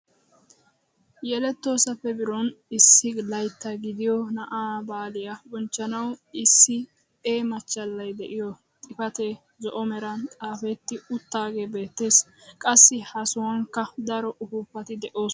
Yelettoosappe biron issi laytta gidiyoo naa'aa baaliyaa bonchchanwu issi E machchalay de'iyoo xifatee zo'o meran xaafetti uttagee beettees. qassi ha sohuwankka daro upuupati de'oosona.